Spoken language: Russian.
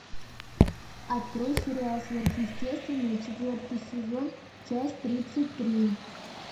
открой сериал сверхъестественное четвертый сезон часть тридцать три